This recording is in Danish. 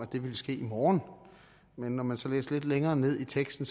det ville ske i morgen men når man så læste lidt længere ned i teksten